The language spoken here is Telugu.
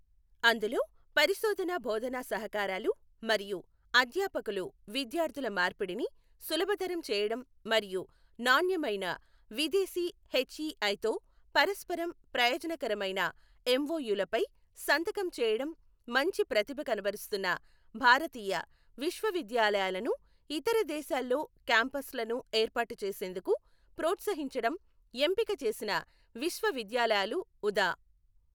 అందులో పరిశోధన బోధనా సహకారాలు మరియు అధ్యాపకులు విద్యార్థుల మార్పిడిని సులభతరం చేయడం మరియు నాణ్యమైన విదేశీ హెచ్ఈఐతో పరస్పరం ప్రయోజనకరమైన ఎంఓయూలపై సంతకం చేయడం మంచి ప్రతిభ కనబరుస్తున్న భారతీయ విశ్వవిద్యాలయాలను ఇతర దేశాల్లో క్యాంపస్లను ఏర్పాటు చేసేందుకు ప్రోత్సహించడం ఎంపిక చేసిన విశ్వవిద్యాలయాలు ఉదా.